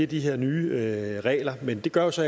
de her nye regler men det gør jo så